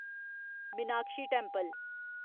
Meenakshi temple